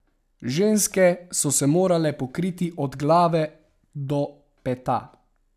Ženske so se morale pokriti od glave do peta.